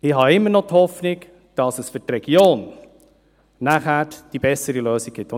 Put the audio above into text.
Ich habe immer noch die Hoffnung, dass es für die Region danach eine bessere Lösung geben wird.